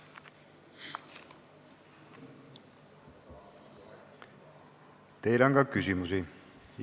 Teile on ka küsimusi.